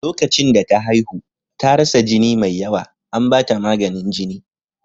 Lokacin da ta haihu, ta rasa jini mai yawa, an ba ta maganin jini.